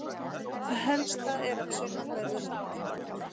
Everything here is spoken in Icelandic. Það helsta er af sunnanverðu landinu.